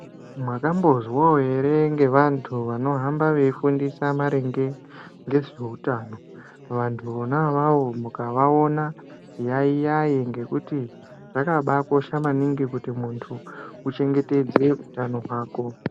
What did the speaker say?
Makambozwawo ere ngevantu vanohamba veifundisa maringa ngezveutano? Vantu vona avavo mukavaona yaiyai ngekuti zvakabakosha maningi kuti muntu uchengetedze utano hwako.